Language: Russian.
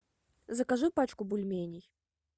закажи пачку бульменей